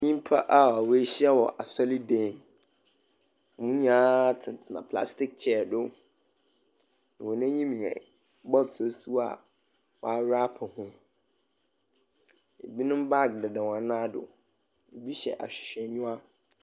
Nyimpa a woehyia wɔ asordan mu. Hɔn nyinaa tsenatsena plastic chair do. Hɔn enyim yɛ bottles go a wɔarape ho. Binom baage deda hɔn nan do. Ɛbi hyɛ ahwerhwɛnyiwa.